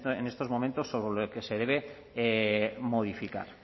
en estos momentos sobre lo que se debe modificar